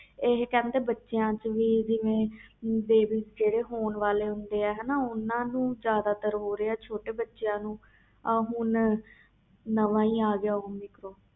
ਇਹ ਬੱਚਿਆਂ ਚ ਵੀ ਜਿਹੜੇ ਬੱਚੇ ਹੋਣ ਵਾਲੇ ਹੁੰਦੇ ਆ ਓਹਨਾ ਨੂੰ ਜਿਆਦਾ ਤਰ ਹੋ ਰਹਿਆ ਬੱਚਿਆਂ ਨੂੰ ਹੁਣ ਨਾਵਾਂ ਹੀ ਆ ਗਿਆ